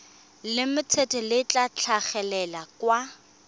limited le tla tlhagelela kwa